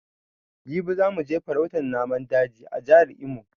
Jibi za mu je farautan naman daji a jejin Jihar Imo